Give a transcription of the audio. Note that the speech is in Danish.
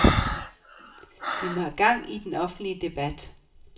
Vi må have gang i den offentlige debat.